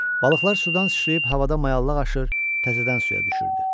Balıqlar sudan sıçrayıb havada mayallıq aşır, təzədən suya düşürdü.